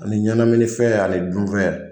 Ani ɲɛnamini fɛn ani dun fɛn.